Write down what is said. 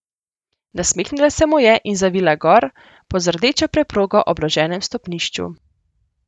Nasmehnila se mu je in zavila gor po z rdečo preprogo obloženem stopnišču.